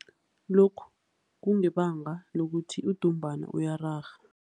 Lokhu kungebanga lokuthi udumbana uyararha.